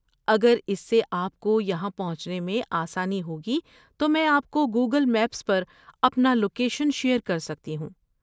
اگر اس سے آپ کو یہاں پہنچنے میں آسانی ہوگی تو میں آپ کو گوگل میپس پر اپنا لوکیشن شیئر کر سکتی ہوں۔